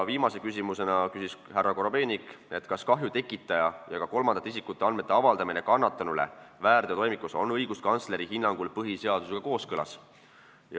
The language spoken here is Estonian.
Viimaseks küsis härra Korobeinik, kas kahju tekitaja ja ka kolmandate isikute andmete avaldamine kannatanule väärteotoimikus on õiguskantsleri hinnangul põhiseadusega kooskõlas.